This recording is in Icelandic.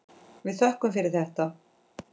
Við þökkum fyrir þetta.